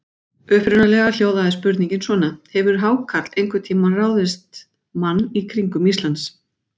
Upprunalega hljóðaði spurningin svona: Hefur hákarl einhvern tíma ráðist mann í kringum Ísland?